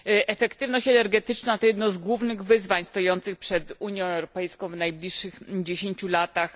Efektywność energetyczna to jedno z głównych wyzwań stojących przed Unią Europejską w najbliższych dziesięciu latach.